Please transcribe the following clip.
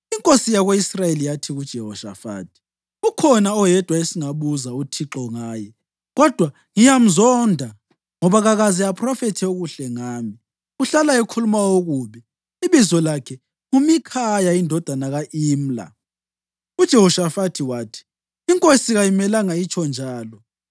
Inkosi yako-Israyeli yathi kuJehoshafathi, “Ukhona oyedwa esingabuza uThixo ngaye kodwa ngiyamzonda ngoba kakaze aphrofethe okuhle ngami, uhlala ekhuluma okubi. Ibizo lakhe nguMikhaya indodana ka-Imla.” UJehoshafathi wathi, “Inkosi kayimelanga itsho njalo.”